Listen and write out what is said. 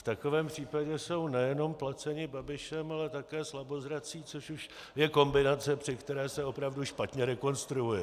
V takovém případě jsou nejenom placeni Babišem, ale také slabozrací, což už je kombinace, při které se opravdu špatně rekonstruuje.